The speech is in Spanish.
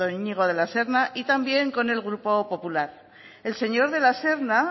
iñigo de la serna y también con el grupo popular el señor de la serna